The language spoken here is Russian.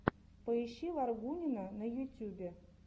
поищи варгунина на ютьюбе